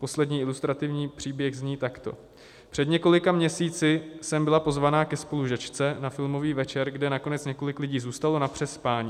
Poslední ilustrativní příběh zní takto: "Před několika měsíci jsem byla pozvaná ke spolužačce na filmový večer, kde nakonec několik lidí zůstalo na přespání.